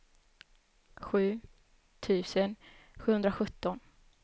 sju tusen sjuhundrasjutton